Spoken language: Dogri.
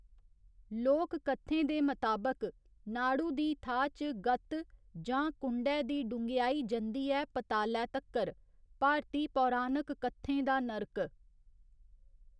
लोककत्थें दे मताबक, नाड़ू दी थाह् च गत्त जां कुंडै दी डुंगेहाई जंदी ऐ पतालै तक्कर, भारती पौराणक कत्थें दा नर्क।